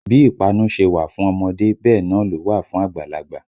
Bí ìpanu ṣe wà fún ọmọdé bẹ́ẹ̀ náà ló wà fún àgbàlagbà